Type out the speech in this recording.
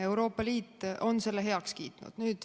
Euroopa Liit on selle heaks kiitnud.